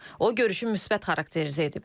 O, görüşü müsbət xarakterizə edib.